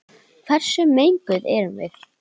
Hversu menguð erum við?